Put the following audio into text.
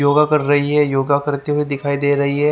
योगा कर रही है योगा करते हुए दिखाई दे रही है।